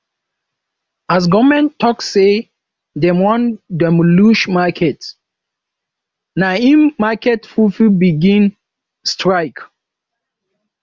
as government tok sey dem wan demolish market na im market pipo begin strike